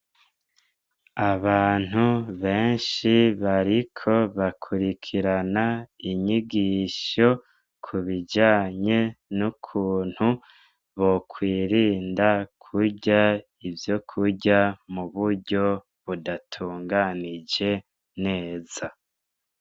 Abantu benshi bariko bakurikirana inyigisho, kubijanye n'ukuntu bokwirinda kurya ivyokurya muburyo budatunganije neza.